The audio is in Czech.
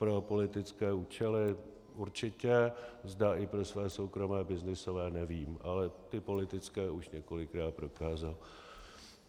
Pro politické účely určitě, zda i pro své soukromé byznysové nevím, ale ty politické už několikrát prokázal.